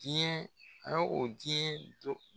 Jiyɛn a ye o jiyɛn don